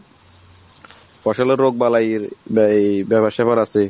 ফসলের রোগ বালাইয়ের ব্যাপার স্যাপার আসে।